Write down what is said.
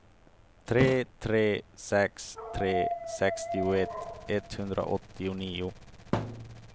tre tre sex tre sextioett etthundraåttionio